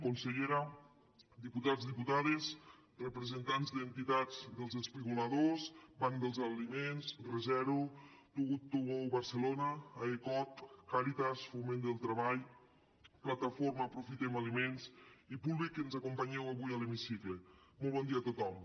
consellera diputats diputades representants d’entitats dels espigoladors banc dels aliments rezero to good to go barcelona aecoc càritas foment del treball plataforma aprofitem aliments i públic que ens acompanyeu avui a l’hemicicle molt bon dia a tothom